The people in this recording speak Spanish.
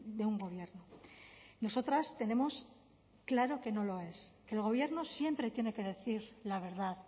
de un gobierno nosotras tenemos claro que no lo es que el gobierno siempre tiene que decir la verdad